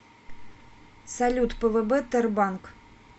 салют пвб тербанк